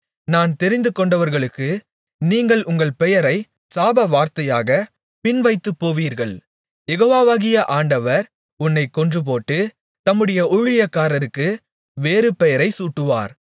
நான் தெரிந்து கொண்டவர்களுக்கு நீங்கள் உங்கள் பெயரை சாபவார்த்தையாகப் பின்வைத்துப் போவீர்கள் யெகோவாவாகிய ஆண்டவர் உன்னைக் கொன்றுபோட்டு தம்முடைய ஊழியக்காரருக்கு வேறு பெயரைச் சூட்டுவார்